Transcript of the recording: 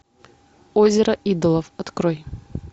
озеро идолов открой